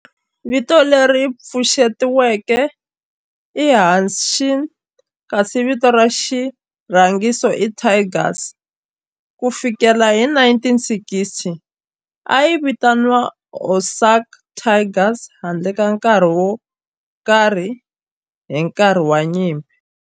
Vito leri pfuxetiweke i Hanshin kasi vito ra xirhangiso i Tigers. Ku fikela hi 1960, a yi vitaniwa Osaka Tigers handle ka nkarhi wo karhi hi nkarhi wa nyimpi.